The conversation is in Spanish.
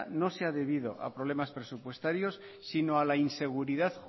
no se ha debido a problemas presupuestarios sino a la inseguridad